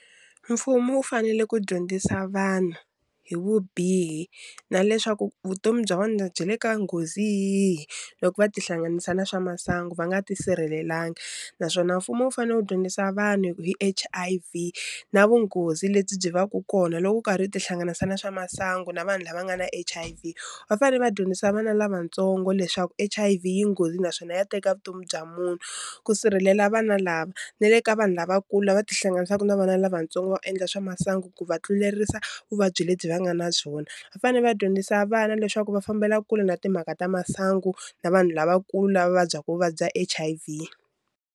Mfumo wu fanele ku dyondzisa vanhu hi vubihi na leswaku vutomi bya vona byi le ka nghozi yihi loko va tihlanganisa na swa masangu va nga ti sirhelelanga naswona mfumo wu fanele wu dyondzisa vanhu hi ku hi H_I_V na vunghozi lebyi byi vaka kona loko u karhi u tihlanganisa na swa masangu na vanhu lava nga na H_I_V va fanele va dyondzisa vana lavatsongo leswaku H_I_V yi nghozi naswona ya teka vutomi bya munhu ku sirhelela vana lava na le ka vanhu lavakulu lava ti hlanganisaka na vana lavatsongo va endla swa masangu ku va tlulerisa vuvabyi lebyi va nga na byona va fanele va dyondzisa vana leswaku va fambela kule na timhaka ta masangu na vanhu lavakulu lava va vabyaku vuvabyi bya H_I_V.